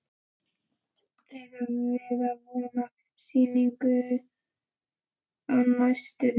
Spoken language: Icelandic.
Eigum við von á sýningu á næstunni?